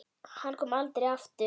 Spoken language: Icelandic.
Hann kom aldrei aftur.